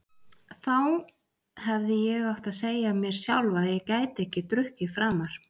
Þá hefði ég átt að segja mér sjálf að ég gæti ekki drukkið framar.